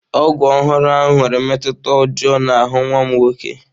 Ọgwụ ọhụrụ ahụ nwere mmetụta ọjọọ n'ahụ nwa m nwoke